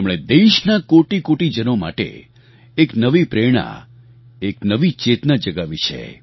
તેમણે દેશના કોટિકોટિ જનો માટે એક નવી પ્રેરણા એક નવી ચેતના જગાવી છે